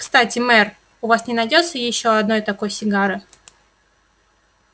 кстати мэр у вас не найдётся ещё одной такой сигары